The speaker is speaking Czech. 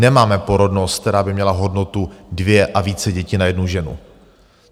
Nemáme porodnost, která by měla hodnotu dvě a více dětí na jednu ženu.